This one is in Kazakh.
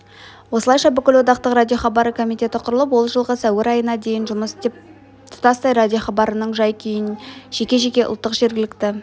осылайша бүкілодақтық радиохабары комитеті құрылып ол жылғы сәуір айына дейін жұмыс істеп тұтастай радиохабарының жай-күйін жеке-жеке ұлттық жергілікті